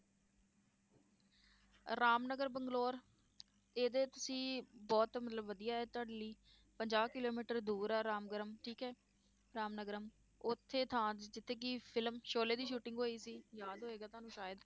ਰਾਮ ਨਗਰ ਬੰਗਲੋਰ ਇਹਦੇ ਤੁਸੀਂ ਬਹੁਤ ਮਤਲਬ ਵਧੀਆ ਹੈ ਤੁਹਾਡੇ ਲਈ ਪੰਜਾਹ ਕਿੱਲੋਮੀਟਰ ਦੂਰ ਹੈ ਰਾਮ ਗਰਮ ਠੀਕ ਹੈ ਰਾਮ ਨਗਰਮ ਉੱਥੇ ਥਾਂ ਜਿੱਥੇ ਕਿ film ਸੋਲੇ ਦੀ shooting ਹੋਈ ਸੀ ਯਾਦ ਹੋਏਗਾ ਤੁਹਾਨੂੰ ਸ਼ਾਇਦ।